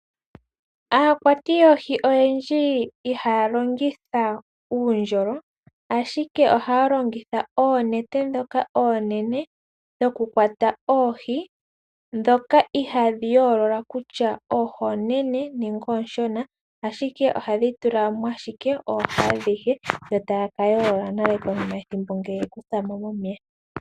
Aakwati yoohi oyendji ihaya longitha uundjolo, ihe ohaya longitha oonete ndhoka oonene dhokukwata oohi, ndhoka ihadhi yoolola kutya oohi oonene nenge oonshona, ashike ohadhi tula mo ashike oohi adhihe yo taya ka yoolola nale konima yethimbo ngele ye dhi kutha mo momeya.